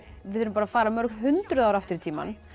við erum að fara mörg hundruð ár aftur í tímann